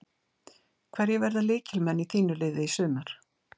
Hverjir verða lykilmenn í þínu liði í sumar?